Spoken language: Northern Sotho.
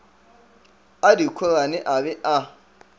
a dikhorane a be a